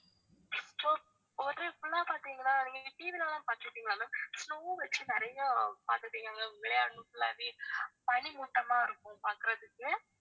so hotel full ஆ பாத்திங்கனா நீங்க TV ல எல்லாம் பாத்திருக்கீங்களா ma'am snow வச்சு நிறைய பாத்திருக்கீங்களா ma'am விளையாடணும் full ஆவே பனிமூட்டமா இருக்கும் பாக்கறதுக்கு